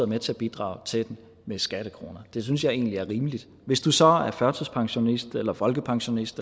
med til at bidrage til den med skattekroner det synes jeg egentlig er rimeligt hvis du så er førtidspensionist eller folkepensionist